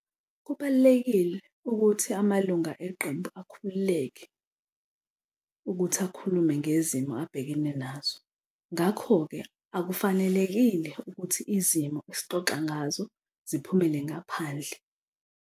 Kubalulekile ukuthi amalunga eqembu akhululeke ukuthi akhulume ngezimo abhekene nazo, ngakho-ke akufanelekile ukuthi izimo esixoxa ngazo ziphumele ngaphandle.